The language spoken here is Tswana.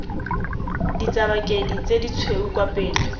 ditsabakedi tse ditshweu kwa pele